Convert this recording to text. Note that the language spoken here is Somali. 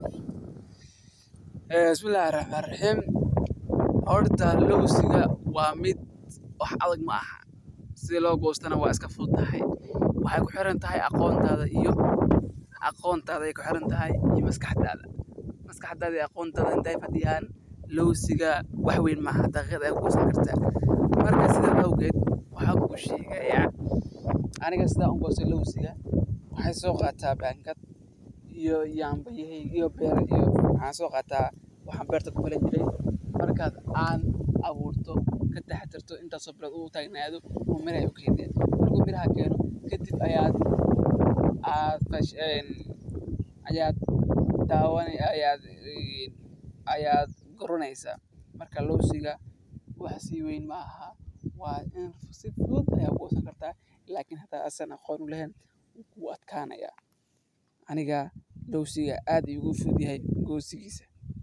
Eeeen bismillahi rahmani rahiim, horta lawska waa midh, sidha loo goostona wax adag maahan, waxaay kuxiran tahay aqoontaadaa iyo maskax taadaa. Habka goosashada lawska miyuu adag yahay maaha mid adag haddii aad fahanto sida loo sameeyo iyo qalabka loo baahan yahay, laakiin waxaa laga yaabaa in ay adkaysato marka aadan hore ugu qalin jebineyn farsamooyinka lagu goosado lawska si sax ah, sidaas darteed waxaa muhiim ah in aad barato habka saxda ah ee goosashada iyo in aad isticmaasho qalabka saxda ah.